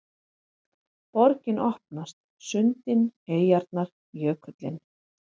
Borgin opnast: sundin, eyjarnar, jökullinn